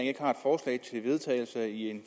jeg vedtagelse i en